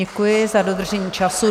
Děkuji za dodržení času.